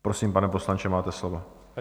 Prosím, pane poslanče, máte slovo.